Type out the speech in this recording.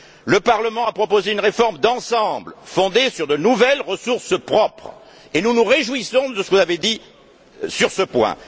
Le Parlement a proposé une réforme d'ensemble fondée sur de nouvelles ressources propres et nous nous réjouissons de ce que vous avez dit sur ce point.